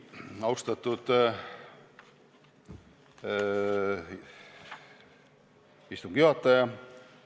Austatud istungi juhataja!